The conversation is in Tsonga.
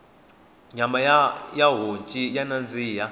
nyama ya honci ya nandziha